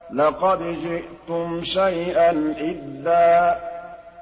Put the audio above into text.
لَّقَدْ جِئْتُمْ شَيْئًا إِدًّا